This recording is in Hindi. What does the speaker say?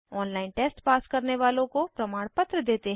ऑनलाइन टेस्ट पास करने वालों को प्रमाणपत्र देते हैं